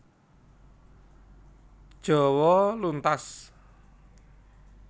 Jawa luntas